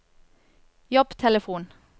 jobbtelefon